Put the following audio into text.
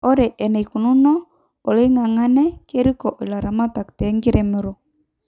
Ore enaikununo oloingangena keriko ilaramatak te nkiremero